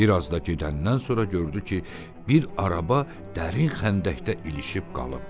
Bir az da gedəndən sonra gördü ki, bir araba dərin xəndəkdə ilişib qalıb.